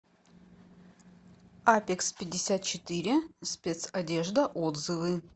апекспятьдесятчетыре спецодежда отзывы